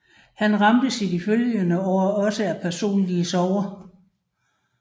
Han ramtes i de følgende år også af personlige sorger